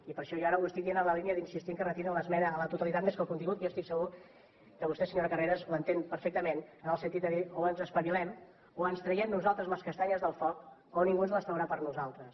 i per això jo ara ho estic dient en la línia d’insistir que retirin l’esmena a la totalitat més que al contingut que jo estic segur que vostè senyora carreras l’entén perfectament en el sentit de dir o en espavilem o ens traiem nosaltres les castanyes del foc o ningú ens les traurà per nosaltres